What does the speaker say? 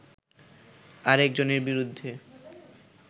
আরেকজনের বিরুদ্ধে